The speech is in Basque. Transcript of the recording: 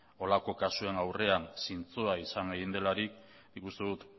holako kasuen aurrean zintzoa izan egin delarik nik uste dut